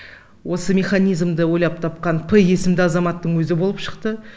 осы механизмді ойлап тапқан п есімді азаматтың өзі болып шықты